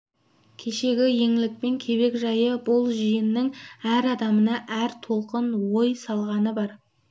кешегі еңлік пен кебек жайы бұл жиынның әр адамына әр толқын ой салғаны бар